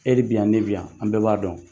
E de bɛ yan, ne bɛ yan, an bɛɛ b'a dɔn.